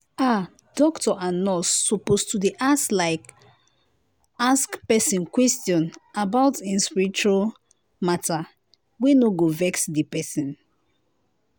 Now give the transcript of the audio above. ah doctor and nurse suppose to dey like ask like ask pesin question about em spiritual matter wey no go vex di pesin.